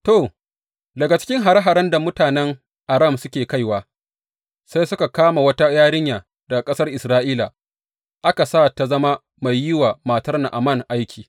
To, daga cikin hare haren da mutanen Aram suke kaiwa, sai suka kama wata yarinya daga ƙasar Isra’ila, aka sa ta zama mai yi wa matar Na’aman aiki.